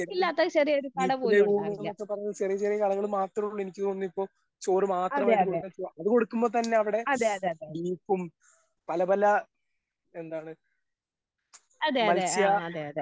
ഇല്ലാത്ത ചെറിയൊരു കട പോലും ഉണ്ടാവില്ല. അതെ അതെ ആഹ് അതെ അതെ